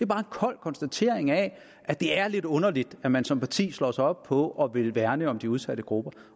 bare en kold konstatering af at det er lidt underligt at man som parti slår sig op på at ville værne om de udsatte grupper